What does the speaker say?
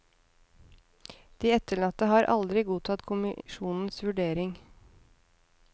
De etterlatte har aldri godtatt kommisjonens vurdering.